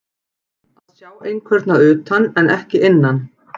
Að sjá einhvern að utan en ekki innan